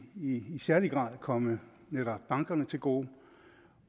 i i særlig grad komme netop bankerne til gode